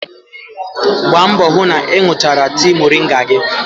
Gbaa mbọ hụ na ị ṅụchara tii moringa gị.